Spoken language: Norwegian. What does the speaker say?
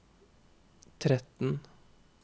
tretten